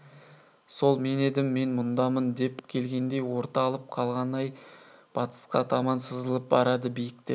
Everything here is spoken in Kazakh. сол мен едім мен мұндамын деп келгендей орталап қалған ай батысқа таман сызылып барады биік те